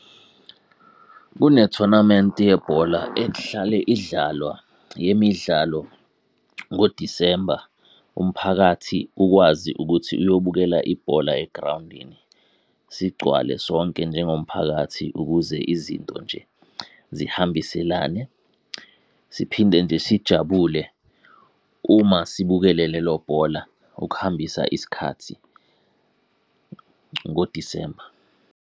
Kunethonamenti yebhola ehlale idlalwa yemidlalo ngoDisemba. Umphakathi ukwazi ukuthi uyobukela ibhola egrawundini. Sigcwale sonke njengomphakathi ukuze izinto nje zihambiselane. Siphinde nje sijabule, uma sibukele lelo bhola ukuhambisa isikhathi ngoDisemba.